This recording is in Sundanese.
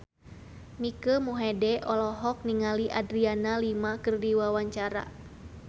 Mike Mohede olohok ningali Adriana Lima keur diwawancara